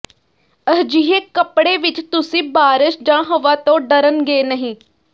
ਅਜਿਹੇ ਕੱਪੜੇ ਵਿੱਚ ਤੁਸੀਂ ਬਾਰਸ਼ ਜਾਂ ਹਵਾ ਤੋਂ ਡਰਨਗੇ ਨਹੀਂ